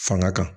Fanga kan